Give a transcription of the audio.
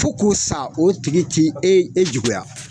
Fo k'o sa o tigi tɛ e e juguya.